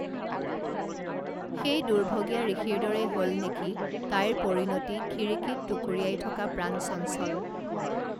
সেই দুৰ্ভগীয়া ঋষিৰ দৰেই হল নেকি তাইৰ পৰিণতি খিৰিকীত টুকুৰিয়াই থকা প্ৰাণচঞ্চল